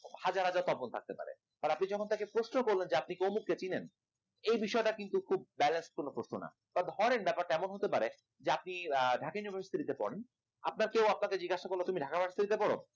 হাজার হাজার তপন থাকতে পারে, আর আপনি যখন তাকে প্রশ্ন করলেন যে আপনি তমুক কে চিনেন এই বিষয়টা কিন্তু খুব প্রশ্ন না ধরেন ব্যাপারটা এমন হতে পারে যে আপনি ঢাকা University পড়েন আপনার কেউ আপনাকে জিজ্ঞাসা করল তুমি ঢাকা University পড়ো